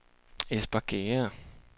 Espergærde